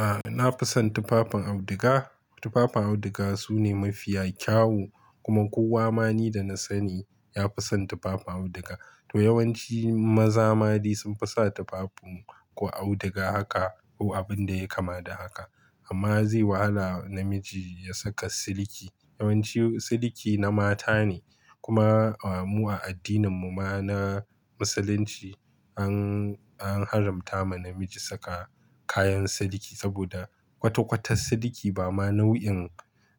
A'a na fi son tufafin auduga. Tufafin auduga sune mafiya kyau kuma kowa ma ni da na sani ya fi son tufafin auduga. To yawanci maza ma dai sun fi sa tufafin ko auduga haka ko abin da ya kama da haka amma zai wahala namiji ya saka siliki. Yawanci siliki na mata ne. Kuma mu a addinin mu ma na musulunci an, an haramta ma namiji saka kayan siliki saboda kwata-kwata siliki ba ma nau'in,